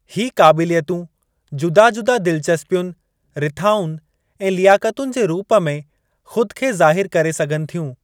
हीउ क़ाबिलियतूं जुदा जुदा दिलचस्पियुनि, रिथाउनि ऐं लियाकतुनि जे रूप में खु़द खे ज़ाहिरु करे सघनि थियूं।